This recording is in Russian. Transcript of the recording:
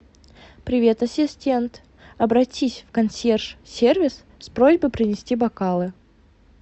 привет ассистент обратись в консьерж сервис с просьбой принести бокалы